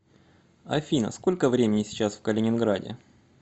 афина сколько времени сейчас в калининграде